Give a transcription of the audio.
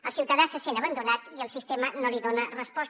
el ciutadà se sent abandonat i el sistema no li dona resposta